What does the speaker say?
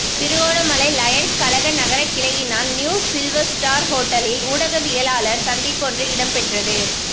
Trincomalee Lions கழக நகரக் கிளையினால் நியூ சில்வஸ்டாா் ஹோட்டலில் ஊடகவியலாளர் சந்திப்பொன்று இடம்பெற்றது